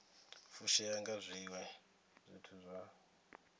fushea nga zwiwe zwithu kha